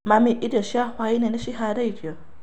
Mami, irio cia hwainĩ nĩ ciharĩrĩirio